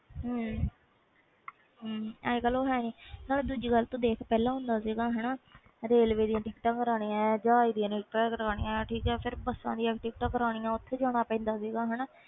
ਅੱਜ ਕਲ ਉਹ ਹੈ ਨਹੀਂ ਦੂਜੀ ਗੱਲ ਦੇਖ ਤੂੰ ਪਹਿਲੇ ਹੁੰਦਾ ਰੇਲਵੇ ਦੀਆ ਟਿਕਟਾਂ ਕਾਰਵਾਣੀਆਂ ਜਹਾਜ ਦੀਆ ਟਿਕਟਾਂ ਕਾਰਵਾਨੀਆਂ ਫਿਰ ਬੱਸਾਂ ਦੀਆ ਟਿਕਟਾਂ ਕਿਥੇ ਜਾਣਾ ਪੈਂਦਾ ਸੀ